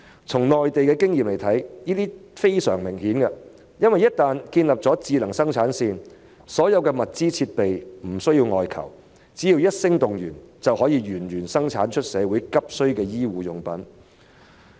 從內地的經驗來看，這是非常明顯的，因為只要建立了智能生產線，所有物資、設備便不假外求，只要一聲動員，就可以源源不絕地生產社會急需的醫護用品。